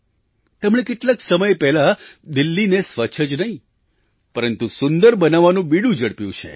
તેમણે કેટલાક સમય પહેલાં દિલ્હીને સ્વચ્છ જ નહીં પરંતુ સુંદર બનાવવાનું બીડું ઝડપ્યું છે